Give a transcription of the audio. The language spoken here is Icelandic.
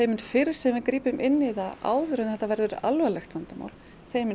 mun fyrr sem við grípum inn í það áður en þetta verður alvarlegt vandamál þeim mun